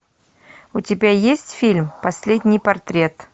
у тебя есть фильм последний портрет